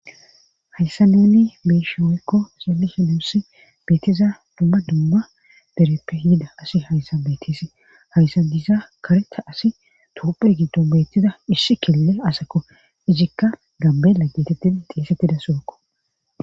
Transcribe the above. Hayssa nuuni be7ishin woykko xeellishin nuussi betiza dumma dumma dereppe yida asi hayssan beetesi hayssan diza kareta asi toophe giddon beettiza issi kilile asako izikka gambeela geetettidi xeesettida sohokko.